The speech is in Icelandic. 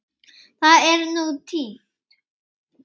Það er nú týnt.